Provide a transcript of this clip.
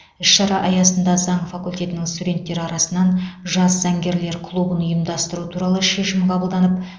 іс шара аясында заң факультетінің студенттері арасынан жас заңгерлер клубын ұйымдастыру туралы шешім қабылданып